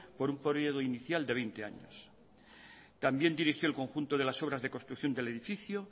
por un periodo inicial de veinte años también dirigió el conjunto de las obras de construcción del edificio